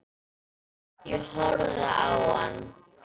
Ég horfði á hann.